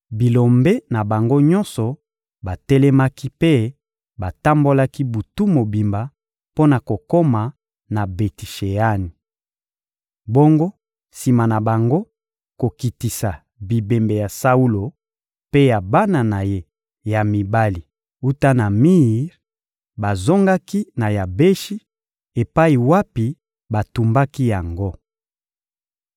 bilombe na bango nyonso batelemaki mpe batambolaki butu mobimba mpo na kokoma na Beti-Sheani. Bongo sima na bango kokitisa bibembe ya Saulo mpe ya bana na ye ya mibali wuta na mir, bazongaki na Yabeshi epai wapi batumbaki yango.